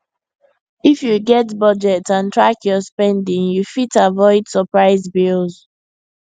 if you get budget and track your spending you fit avoid surprise bills